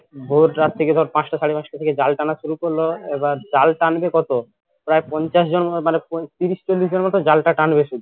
ভোর রাত থেকে ধর পাঁচটা সাড়েপাঁচটা থেকে জাল টানা শুরু করলো আবার জাল টানবে কত প্রায় পঞ্চাশ জন মতো মানে তিরিশ চল্লিশ জন মতো জালটা টানবে শুধু